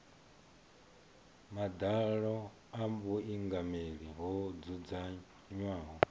madalo a vhuingameli ho dzudzanywaho